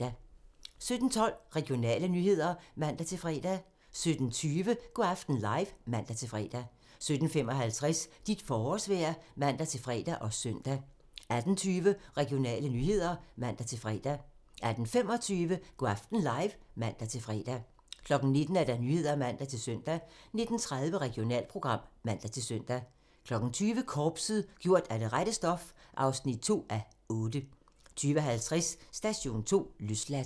17:12: Regionale nyheder (man-fre) 17:20: Go' aften live (man-fre) 17:55: Dit forårsvejr (man-fre og søn) 18:00: Nyhederne (man-fre og søn) 18:20: Regionale nyheder (man-fre) 18:25: Go' aften live (man-fre) 19:00: Nyhederne (man-søn) 19:30: Regionalprogram (man-søn) 20:00: Korpset - gjort af det rette stof (2:8) 20:50: Station 2: Løsladt